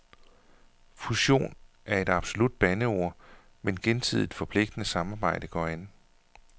Fusion er et absolut bandeord, men gensidigt forpligtende samarbejde går an.